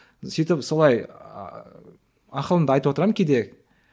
сөйтіп солай ақылымды айтып отырамын кейде